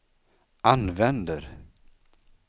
använder